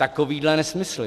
Takovéhle nesmysly.